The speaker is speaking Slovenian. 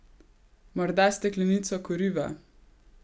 Morda steklenico kuriva?